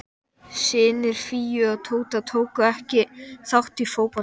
Baróninn eignaðist hinsvegar sína eigin sumarhöll inni á